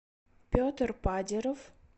петр падиров